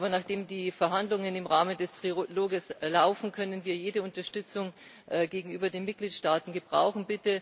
Aber nachdem die Verhandlungen im Rahmen des Trilogs laufen, können wir jede Unterstützung gegenüber den Mitgliedstaaten gebrauchen.